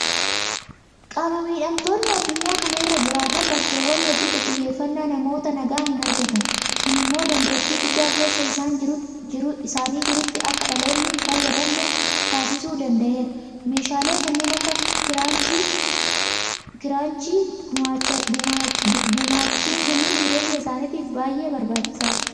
Qaama miidhamtoonni addunyaa kana irra jiraatan bakkeewwan hedduutti xiyyeefannaa namoota nagaa hinargatan. Kun immoo dandeetti guddaa keessa isaanii jirutti akka dhaloonni hinfayyadamne taasisuu danda'eera. Meeshaalee kanneen akka Kiraanchii gumaachuifiin jireenya isaaniitiif baay'ee barbaachisaadha.